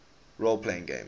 role playing games